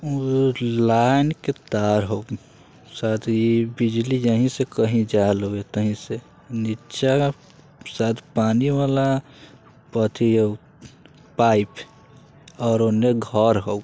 वह एक लाइन के तार हो साथ ही बिजली यही से कही जा रहल हो तहिं से| नीचे शायद पानी वाला अथी हो पाइप और उन्हें घर हो।